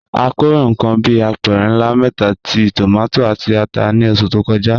A kórè nǹkan bí apẹ̀rẹ̀ ńlá mẹ́ta ti tòmátì àti ata ní oṣù tó kọjá.